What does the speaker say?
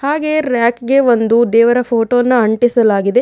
ಹಾಗೆ ರ್ಯಕಿಗೆ ಒಂದು ದೇವರ ಫೋಟೋ ನ ಅಂಟಿಸಲಾಗಿದೆ.